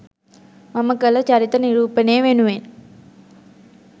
මම කළ චරිත නිරූපණය වෙනුවෙන්